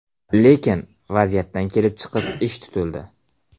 Lekin vaziyatdan kelib chiqib ish tutildi.